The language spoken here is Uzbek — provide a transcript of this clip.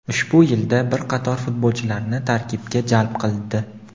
ushbu yilda bir qator futbolchilarni tarkibga jalb qildi.